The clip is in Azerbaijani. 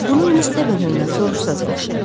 Bunu Miss Debenhemdən soruşsanız yaxşıdır.